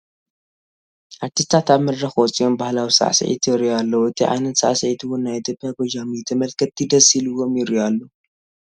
ኣርቲስታት ኣብ መድረኽ ወፂኦም ባህላዊ ስዕሲዒት የርእዩ ኣለዉ ፡ እቲ ዓይነት ስዕሲዒት'ውን ናይ ኢ/ያ ጎጃም እዩ፡ ተመልከቲ ደስ ኢሉዎም ይሪኡ ኣለዉ ።